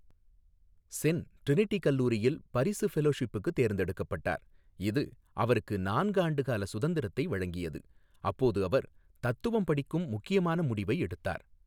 Sen Trinity கல்லூரியில் பரிசு ஃபெலோஷிப்புக்கு தேர்ந்தெடுக்கப்பட்டார், இது அவருக்கு நான்கு ஆண்டுகால சுதந்திரத்தை வழங்கியது, அப்போது அவர் தத்துவம் படிக்கும் முக்கியமான முடிவை எடுத்தார்.